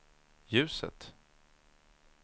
ljuset